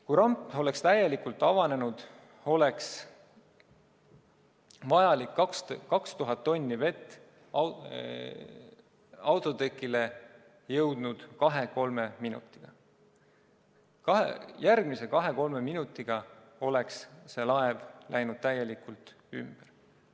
Kui ramp oleks täielikult avanenud, oleks vajalik 2000 tonni vett autotekile jõudnud kahe-kolme minutiga, järgmise kahe-kolme minutiga oleks laev läinud täielikult ümber.